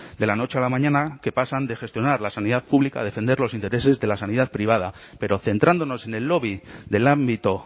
de la noche a la mañana que pasan de gestionar la sanidad pública a defender los intereses de la sanidad privada pero centrándonos en el lobby del ámbito